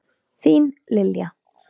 Þín, Lilja.